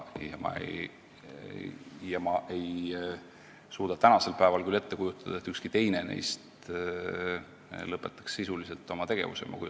Ma ei suuda tänasel päeval küll ette kujutada, et ükski teine neist sisuliselt oma tegevuse lõpetaks.